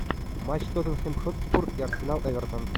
матч тоттенхэм хотспур и арсенал эвертон